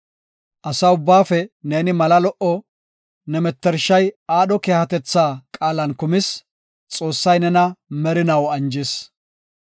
Asa ubbaafe neeni mala lo7o; ne mettershay aadho keehatetha qaalan kumis; Xoossay nena merinaw anjis.